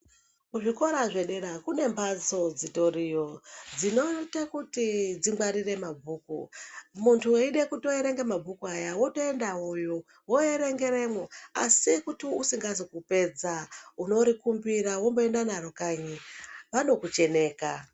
Kuzvikora zvedera kune mhatso dzitoriyo dzinoite kuti dzingwarire mabhuku. Muntu eide kutierenga mabhuku aya votoenda voyo voverengeremwo. Asi kuti usingazi kupedza unorikumbira vomboende naro kanyi vanokucheneka.